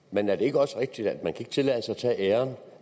men er det ikke også rigtigt at man ikke kan tillade sig